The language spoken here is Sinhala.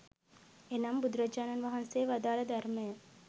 එනම් බුදුරජාණන් වහන්සේ වදාළ ධර්මය